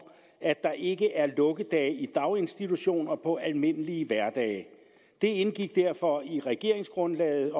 at der ikke er lukkedage i daginstitutioner på almindelige hverdage det indgik derfor i regeringsgrundlaget